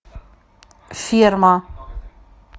ферма